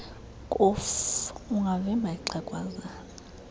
kofu ungavimba ixhegwazana